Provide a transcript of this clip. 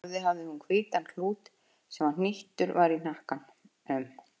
Á höfði hafði hún hvítan klút sem hnýttur var í hnakkanum.